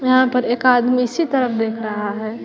यहां पर एक आदमी इसी तरफ देख रहा है।